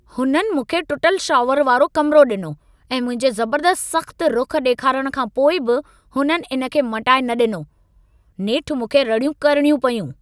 हुननि मूंखे टुटल शॉवर वारो कमिरो ॾिनो ऐं मुंहिंजे ज़बर्दस्तु सख़्तु रुख़ु ॾेखारण खां पोइ बि हुननि इन खे मटाए न ॾिनो। नेठि मूंखे रड़ियूं करणियूं पयूं।